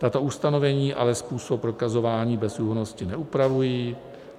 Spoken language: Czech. Tato ustanovení ale způsob prokazování bezúhonnosti neupravují.